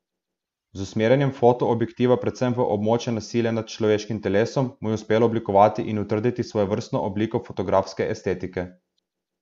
Z usmerjanjem foto objektiva predvsem v območje nasilja nad človeškim telesom mu je uspelo oblikovati in utrditi svojstveno obliko fotografske estetike.